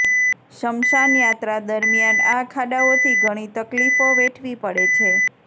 સ્મશાન યાત્રા દરમિયાન આ ખાડાઓથી ઘણી તકલીફો વેઠવી પડે છે